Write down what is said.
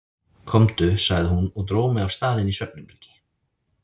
Komdu, sagði hún og dró mig af stað inn í svefnherbergi.